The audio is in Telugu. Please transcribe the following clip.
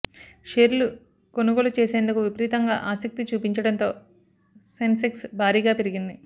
షేర్లు కొనుగోలు చేసేందుకు విపరీతంగా ఆసక్తి చూపించడంతో సెన్సెక్స్ భారీగా పెరిగింది